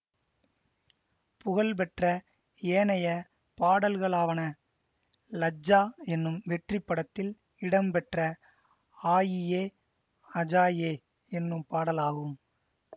புகழ் பெற்ற ஏனைய பாடல்களாவன லஜ்ஜா என்னும் வெற்றி படத்தில் இடம் பெற்ற ஆயியே அஜாயே என்னும் பாடலாகும்